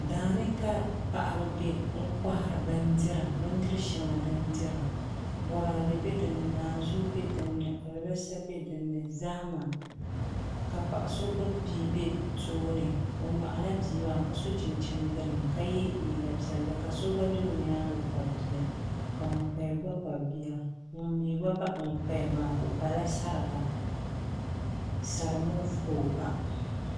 Daani ka paɣaba bɛ n kohari bindiri shɛŋa din dira boraadɛ bɛ dinni naanzuu bɛ dinni alibarisa bɛ dinni zahama ka paɣa so gbubi bia bɛ tooni o nyoɣala bia maa ka yɛ liiga piɛlli ka so gba bɛ o nyaangi kpabi bia ka ŋun paya gba kpabi bia ŋun mii gba baɣi ŋun paya maa o pala sariga sari moof ka o pa